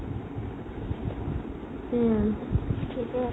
উম, সেইটোও